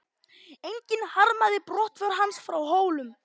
Enginn harmaði brottför hans frá Hólum.